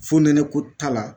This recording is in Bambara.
Fonɛnɛ ko t'a la